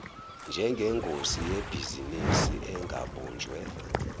njengengosi yebhizinisi engabunjiwe